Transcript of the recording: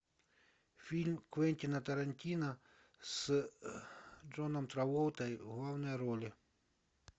фильм квентина тарантино с джоном траволтой в главной роли